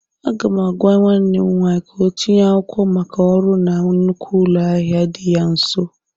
Aga m agwa nwanne m nwaanyị ka ọ tinye akwụkwọ maka ọrụ na nnukwu ụlọ ahịa dị ya nso.